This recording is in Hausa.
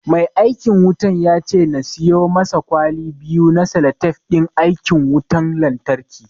Mai aikin wutan ya ce na siyo masa kwali biyu na salatif ɗin aikin wutan lanyarki